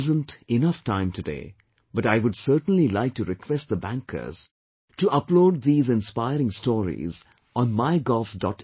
There isn't enough time today, but I would certainly like request the bankers to upload these inspiring stories, on MyGov